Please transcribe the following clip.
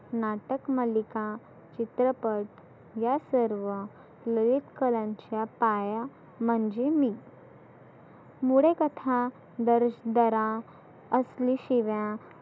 नाटक मालीका, चित्रपट, या सर्व लयीत करांच्या पाया म्हणजे मी. मुळे कथा दर्श दरा आसली शीवा